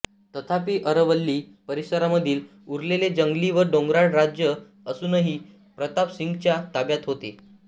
तथापि अरवल्ली परिसरामधील उरलेले जंगली व डोंगराळ राज्य अजूनही प्रताप सिंगच्या ताब्यात होते